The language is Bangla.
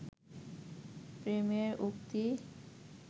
প্রেমের উক্তি